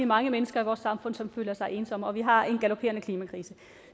mange mennesker i vores samfund som føler sig ensomme og vi har en galopperende klimakrise